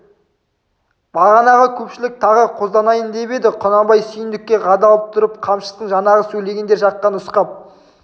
бағанағы көпшілік тағы қозданайын деп еді құнанбай сүйіндікке қадалып тұрып қамшысын жаңағы сөйлегендер жаққа нұсқап